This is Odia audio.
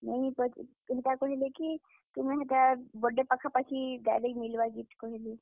ନାଇଁ, ହେଟା କହେଲେ କି, ତୁମେ ହେଟା birthday ପାଖାପାଖି direct ମିଲ୍ ବା gift କହେଲେ।